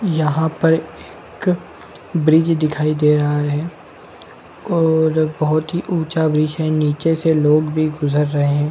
यहाँ पर एक ब्रिज दिखाई दे रहा है और बहुत ऊँचा ब्रिज है निचे से लोग भी गुजर रहे है।